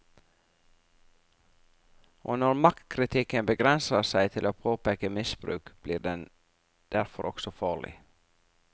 Og når maktkritikken begrenser seg til å påpeke misbruk, blir den derfor også farlig.